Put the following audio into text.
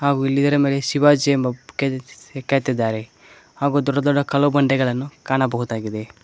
ಹಾಗು ಇಲ್ಲಿ ಇದರ ಮೇಲೆ ಶಿವಾಜಿ ಎಂಬ ಕೆದೆಸಿ ಕೆತ್ತಿದ್ದಾರೆ ಹಾಗು ದೊಡ್ಡ ದೊಡ್ಡ ಕಲ್ಲು ಬಂಡೆಗಳನ್ನು ಕಾಣಬಹುದಾಗಿದೆ.